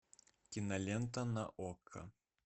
кинолента на окко